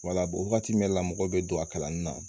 wagati min na mɔgɔw be don a kalanni na